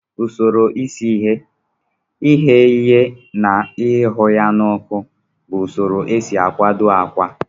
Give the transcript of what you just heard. Usoro isi ihe, ighe ihe na irụ ya na oku bu usoro esi akwado akwa.